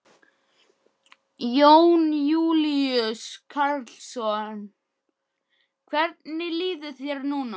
Jón Júlíus Karlsson: Hvernig líður þér núna?